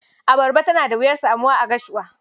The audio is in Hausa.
Abarba tana wuyar samuwa a Gashuwa.